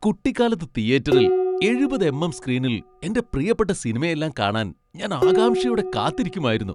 കുട്ടിക്കാലത്ത് തീയേറ്ററിൽ എഴുപത് എം.എം. സ്ക്രീനിൽ എന്റെ പ്രിയപ്പെട്ട സിനിമയെല്ലാം കാണാൻ ഞാൻ ആകാംക്ഷയോടെ കാത്തിരിക്കുമായിരുന്നു.